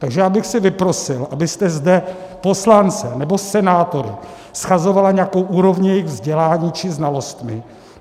Takže já bych si vyprosil, abyste zde poslance nebo senátory shazovala nějakou úrovní jejich vzdělání či znalostí.